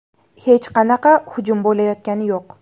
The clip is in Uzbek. Hech qanaqa hujum bo‘layotgani yo‘q.